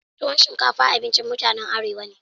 Tuwon shinkafa abincin mutanen Arewa ne.